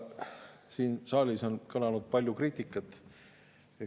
Siin saalis on kõlanud palju kriitikat.